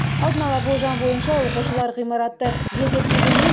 алдын ала болжам бойынша оқушылар ғимаратты желдетпегеннен